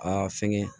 Aa fɛngɛ